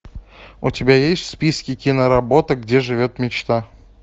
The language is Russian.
у тебя есть в списке киноработа где живет мечта